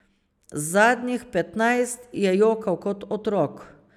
Zadnjih petnajst je jokal kot otrok.